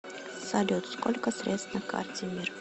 салют сколько средств на карте мир